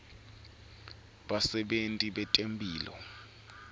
basebenti betemphilo